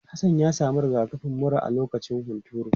Hassan ya samu rigakafin mura a lokacin hunturu.